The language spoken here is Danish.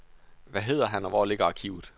Hvad hedder han, og hvor ligger arkivet?